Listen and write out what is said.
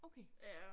Okay